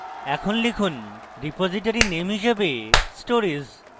এখন লিখুন: repository name যে stories